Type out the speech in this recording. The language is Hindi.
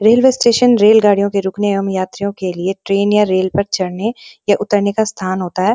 रेलवे स्टेशन रेलगाड़ियों के रुकने एवं यात्रियों के लिए ट्रेन या रेल पर चढ़ने या उतरने का स्थान होता है।